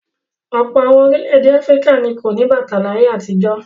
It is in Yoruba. Ọ̀pọ̀ àwọn orílẹ̀-èdè Áfíríkà ni kò ní bàtà láyé àtijọ́.